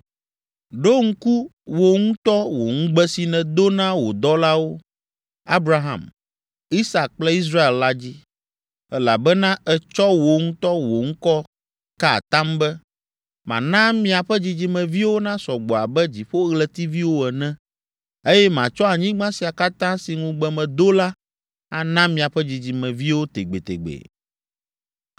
Ɖo ŋku wò ŋutɔ wò ŋugbe si nèdo na wò dɔlawo, Abraham, Isak kple Israel la dzi, elabena ètsɔ wò ŋutɔ wò ŋkɔ ka atam be, ‘Mana miaƒe dzidzimeviwo nasɔ gbɔ abe dziƒoɣletiviwo ene, eye matsɔ anyigba sia katã si ŋugbe medo la ana miaƒe dzidzimeviwo tegbetegbe.’ ”